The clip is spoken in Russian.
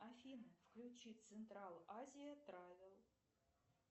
афина включи централ азия травел